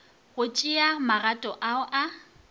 go tšea magato ao a